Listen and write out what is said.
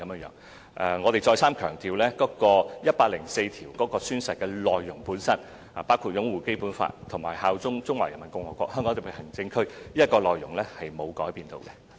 讓我再三強調，《基本法》第一百零四條的宣誓內容本身，包括擁護《基本法》及效忠中華人民共和國香港特別行政區的內容並沒有改變。